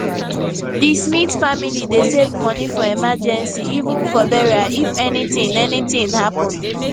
di smith family dey save money for emergency even for burial if anything anything happen